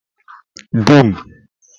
dum